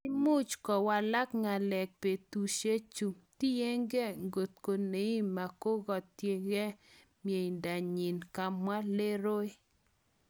Imuch kowalak ngalek betushechu, tiyenge inkotko Neymar koketyege miendanyin, kamwa Leroy.